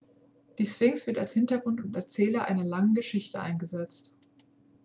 die sphinx wird als hintergrund und erzähler einer langen geschichte eingesetzt